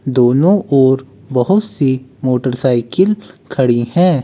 दोनों और बहुत सी मोटरसाइकिल खड़ी है।